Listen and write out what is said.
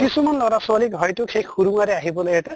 কিছুমান লʼৰা ছোৱালীক হয়্তো সেই সুৰুংৰে আহিবলে এটা